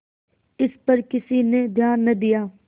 इस पर किसी ने ध्यान न दिया